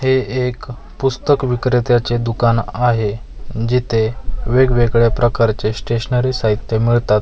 हे एक पुस्तक विक्रेत्याचे दुकान आहे जिथे वेगवेगळ्या प्रकारचे स्टेशनरी साहित्य मिळतात.